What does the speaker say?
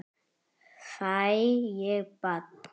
Fæ ég bann?